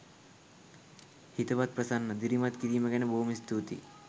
හිතවත් ප්‍රසන්න දිරිමත් කිරීම ගැන බොහොම ස්තුතියි.